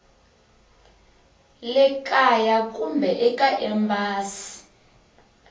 le kaya kumbe eka embasi